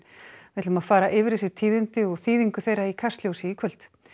við ætlum að fara yfir þessi tíðindi og þýðingu þeirra í Kastljósi í kvöld